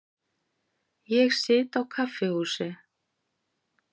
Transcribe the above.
Ég sit á kaffihúsi.